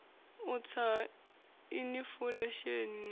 u tsa ha inifulesheni na